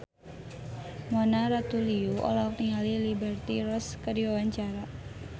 Mona Ratuliu olohok ningali Liberty Ross keur diwawancara